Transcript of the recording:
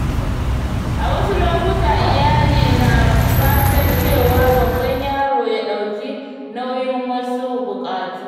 A wasu lokuta, iyali na fatan cewa babban yaro ya ɗauki nauyin wasu bukatu.